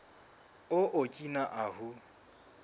o okina ahu